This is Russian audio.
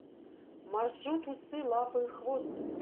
маршрут усы лапы хвост